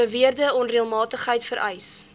beweerde onreëlmatigheid vereis